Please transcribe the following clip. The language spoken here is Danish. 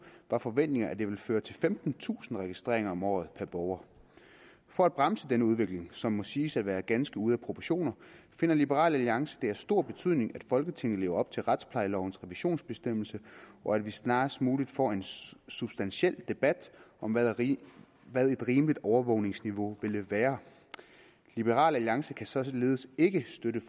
var forventningen at det ville føre til femtentusind registreringer om året per borger for at bremse denne udvikling som må siges at være ganske ude af proportioner finder liberal alliance det af stor betydning at folketinget lever op til retsplejelovens revisionsbestemmelse og at vi snarest muligt får en substantiel debat om hvad et rimeligt overvågningsniveau ville være liberal alliance kan således ikke støtte